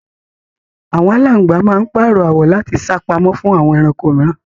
Àwọn aláǹgbá máa ń párọ́ àwọ̀ láti sá pamọ́ fún àwọn ẹranko mìíràn